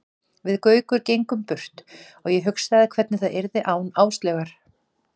Við Gaukur gengum burt og ég hugsaði hvernig það yrði án Áslaugar.